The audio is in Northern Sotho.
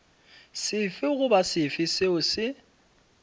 sefe goba sefe seo se